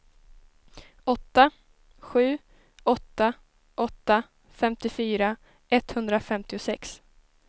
åtta sju åtta åtta femtiofyra etthundrafemtiosex